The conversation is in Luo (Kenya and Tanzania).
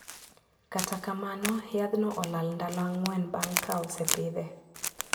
Kata kamano yadhno olal ndalo ang`wen bang` ka osepidhe.